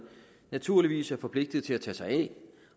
naturligvis er forpligtet til at tage sig af